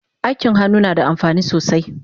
Aikin hannu nada amfani sosai